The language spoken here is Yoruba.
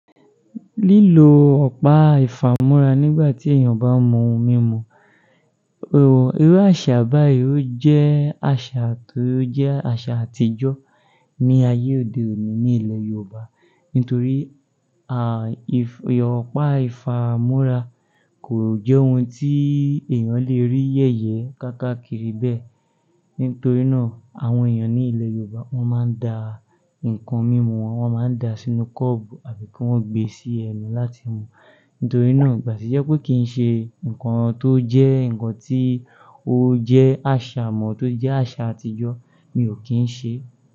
Lílo ọ̀pá ìfámúrá nígbà tí èèyàn bá mú ohun mímu, irú àṣà báyìí ó jẹ́ àṣà tó jẹ́ àṣà àtijọ́ ní ayé òde òní ní ilẹ̀ Yorùbá. Nítorí, à, ì, ọ̀pá ìfámúrá kò jẹ́ ohun tí èèyàn lè rí yẹ̀yẹ káàkiri bẹ́ẹ̀. Nítorí náà, àwọn èèyàn ní ilẹ̀ Yorùbá wọ́n máa ń da ǹkan mímu wọn, wọ́n máa ń da sínú kọ́ọ̀bù àbí kí wọ́n gbe sí ẹnu láti mú. Nítorí náà, ìgbà tí jẹ́ pé kí n ṣe ǹkan tó jẹ́ ǹkan tí ó jẹ́ àṣà mọ, tó jẹ́ àṣà àtijọ́, mi ò kí ń ṣe.